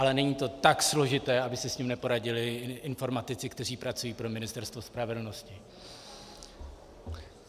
Ale není to tak složité, aby si s tím neporadili informatici, kteří pracují pro Ministerstvo spravedlnosti.